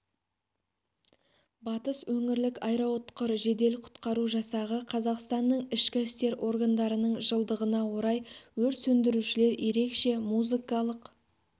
батыс өңірлік аэроұтқыр жедел құтқару жасағы қазақстанның ішкі істер органдарының жылдығына орай өрт сөндірушілер ерекше музыкалық